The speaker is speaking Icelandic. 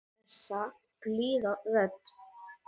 Þessi blíða rödd.